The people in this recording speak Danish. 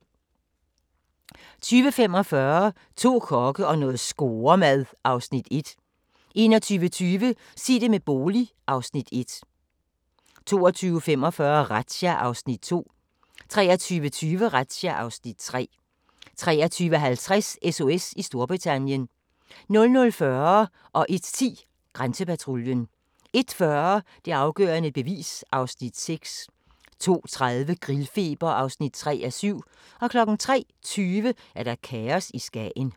20:45: To kokke og noget scoremad (Afs. 1) 21:20: Sig det med bolig (Afs. 1) 22:45: Razzia (Afs. 2) 23:20: Razzia (Afs. 3) 23:50: SOS i Storbritannien 00:40: Grænsepatruljen 01:10: Grænsepatruljen 01:40: Det afgørende bevis (Afs. 6) 02:30: Grillfeber (3:7) 03:20: Kaos i Skagen